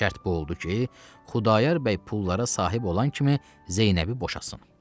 Şərt bu oldu ki, Xudayar bəy pullara sahib olan kimi Zeynəbi boşatsın.